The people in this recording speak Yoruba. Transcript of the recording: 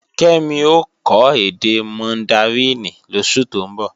Kẹ́mi ó kọ́ èdè mọndaríìnì lósù tó ń bọ̀.